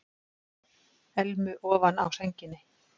Elmu ofan á sænginni.